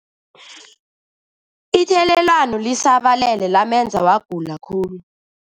Ithelelwano lisabalele lamenza wagula khulu.